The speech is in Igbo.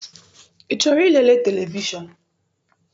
I chọrọ ilere televishọn?